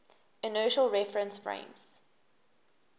inertial reference frames